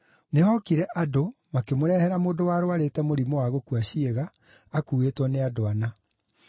Nĩhookire andũ, makĩmũrehera mũndũ warũarĩte mũrimũ wa gũkua ciĩga, akuuĩtwo nĩ andũ ana.